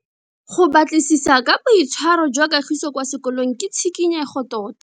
Go batlisisa ka boitshwaro jwa Kagiso kwa sekolong ke tshikinyego tota.